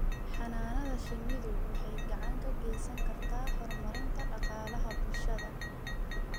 Xannaanada shinnidu waxay gacan ka geysan kartaa horumarinta dhaqaalaha bulshada.